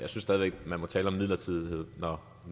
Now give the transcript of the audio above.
stadig væk man må tale om en midlertidighed når